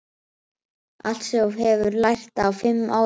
Allt sem þú hefur lært á fimm árum.